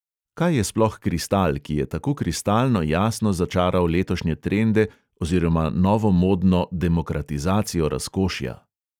Kaj je sploh kristal, ki je tako kristalno jasno začaral letošnje trende oziroma novomodno demokratizacijo razkošja?